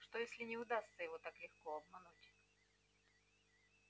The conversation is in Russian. что если не удастся его так легко обмануть